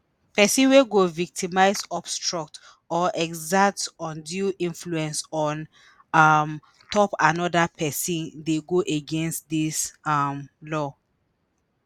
pesin wey go victimize obstruct or exert undue influence on um top anoda pesin dey go against dis um law